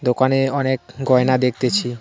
দোকানে অনেক গয়না দেখতেছি।